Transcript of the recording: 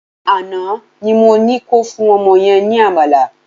Àná ni mo ní ko fún ọmọ yẹn ní àmàlà